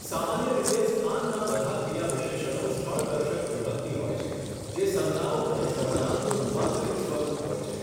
સામાન્ય રીતે સ્થાનના બધા ક્રિયાવિશેષણો સ્થળદર્શક વિભક્તિ હોય છે, જે સંજ્ઞાઓ અને સર્વનામનું રૂપાંતરિત સ્વરૂપ હોય છે.